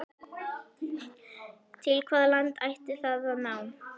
Til hvaða landa ætti það að ná?